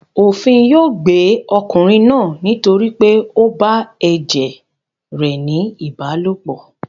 Òfin yóò gbé ọkùnrin náà nítorí pé ó bá ẹ̀jẹ̀ rẹ̀ ní ìbálòpọ̀.